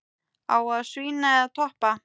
Á að svína eða toppa?